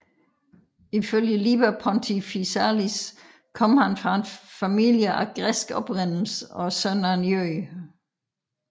Ifølge Liber Pontificalis kom han fra en familie af græsk oprindelse og søn af en jøde